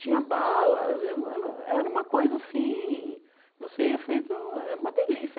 Tinha balas, era era era uma coisa assim, você ia feito, era uma delícia.